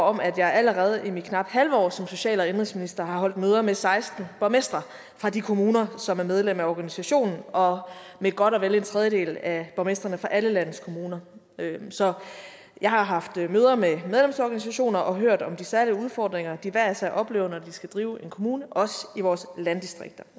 om at jeg allerede i mit knap halve år som social og indenrigsminister har holdt møder med seksten borgmestre fra de kommuner som er medlem af organisationen og med godt og vel en tredjedel af borgmestrene fra alle landet kommuner så jeg har haft møder med medlemsorganisationer og hørt om de særlige udfordringer de hver især oplever når de skal drive en kommune også i vores landdistrikter